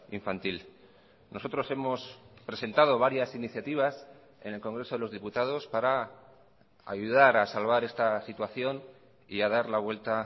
infantil nosotros hemos presentado varias iniciativas en el congreso de los diputados para ayudar a salvar esta situación y a dar la vuelta